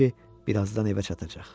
bilirdi ki, birazdan evə çatacaq.